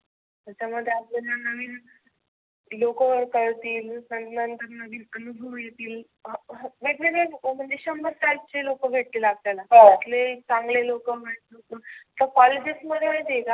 त्यामुळ ते आपल्याला नविन लोक ओळखतील पण नंतर नंतर आनुभव येतील. वेगवेगळे म्हणजे शंभर सातशे लोक भेटतील आपल्याला. कुठले चांगले लोकवाईट लोक तर कॉलेजेस मध्ये माहिती आहे का